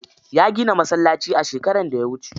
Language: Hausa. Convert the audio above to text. Ya gina masallaci a shekaran da ya wuce.